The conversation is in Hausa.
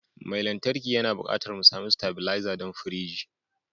Mai lantarki yana buƙatar mu sami stabilizer don firiji